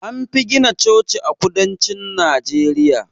Anfi gina Chochi a kudancin Najeriya